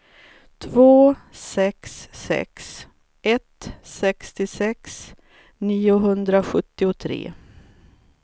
två sex sex ett sextiosex niohundrasjuttiotre